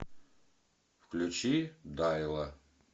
включи дайла